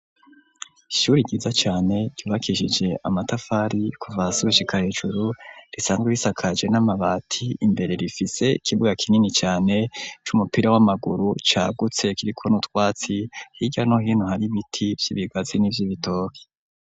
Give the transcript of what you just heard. Ishuri ryiza cane ryubakisije amatafari kuva hasi gushika hejuru, risanzwe risakaje n'amabati ,imbere rifise ikibuga kinini cane c'umupira w'amaguru cagutse kiriko utwatsi, hirya no hino har'ibiti vy'ibigazi n'ivy'ibitoki.